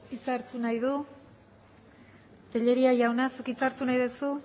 hitza hartu nahi du tellería jauna zuk hitza hartu nahi duzu